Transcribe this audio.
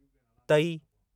तई